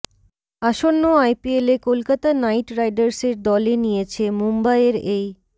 আসন্ন আইপিএলে কলকাতা নাইট রাইডার্সের দলে নিয়েছে মুম্বইয়ের এই